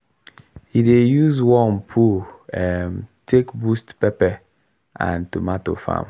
he dey use worm poo um take boost pepper and tomato farm